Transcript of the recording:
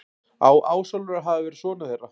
Á Ásólfur að hafa verið sonur þeirra.